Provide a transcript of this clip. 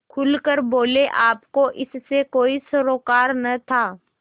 खुल कर बोलेआपको इससे कोई सरोकार न था